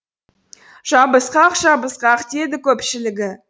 жабысқақ жабысқақ деді көпшілігі